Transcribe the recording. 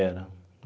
Era.